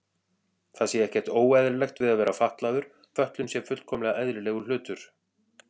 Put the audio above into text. Það sé ekkert óeðlilegt við að vera fatlaður, fötlun sé fullkomlega eðlilegur hlutur.